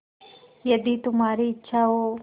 यदि तुम्हारी इच्छा हो